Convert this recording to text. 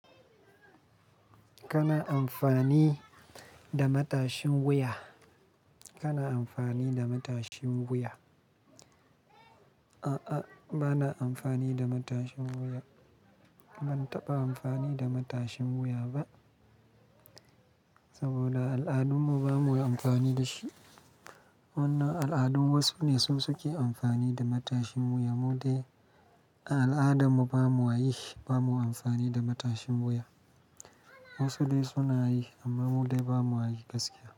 Kana amfani da matashin wuya? Kana amfani da matashin wuya? A'a, ba na amfani da matashin wuya. Ban taɓa amfani da matashin wuya ba saboda al'adun mu ba mu yi amfani da shi. Wannan al'adun wasu ne suke amfani da matashin wuya, mu dai a al'adun mu ba mu a yi shi, ba mu yi amfani da matashin wuya. Wasu dai suna yi amma mu dai ba mu a yi gaskiya.